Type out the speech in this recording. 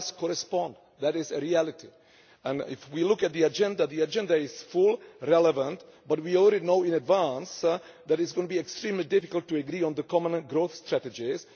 reflects that. That is a reality, and if we look at the agenda, the agenda is full and relevant, but we already know in advance that it is going to be extremely difficult to agree on the common growth strategies.